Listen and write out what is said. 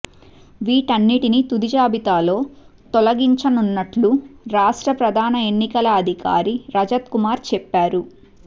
వీటన్నింటిని తుది జాబితాలో తొలగించనున్నట్లు రాష్ట్ర ప్రధాన ఎన్నికల అధికారి రజత్ కుమార్ చెప్పారు